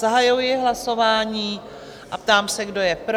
Zahajuji hlasování a ptám se, kdo je pro?